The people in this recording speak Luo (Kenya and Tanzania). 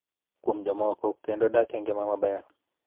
Kuom jomoko kendo dak e ngima maber.